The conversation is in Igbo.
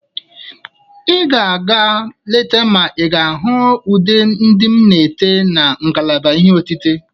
Ị ga-aga leta ma ị ga-ahụ ụdị ude m na-ete na ngalaba ihe otite.